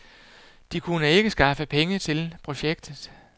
De kunne ikke skaffe penge til projektet.